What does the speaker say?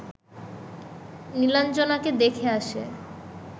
নীলাঞ্জনাকে দেখে এসে